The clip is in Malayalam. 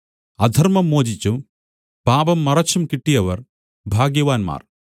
അധർമ്മം മോചിച്ചും പാപം മറച്ചും കിട്ടിയവർ ഭാഗ്യവാന്മാർ